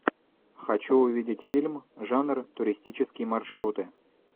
хочу увидеть фильм жанр туристические маршруты